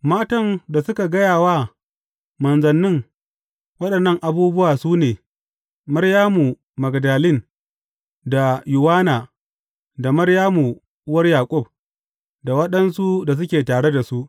Matan da suka gaya wa manzannin waɗannan abubuwa su ne, Maryamu Magdalin, da Yowanna, da Maryamu uwar Yaƙub, da waɗansu da suke tare da su.